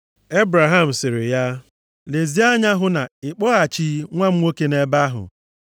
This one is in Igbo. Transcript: Ebraham sịrị ya, “Lezie anya hụ na ị kpọghachighị nwa m nwoke nʼebe ahụ.